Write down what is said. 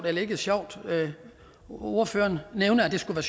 at det ikke er sjovt ordføreren nævner at det skulle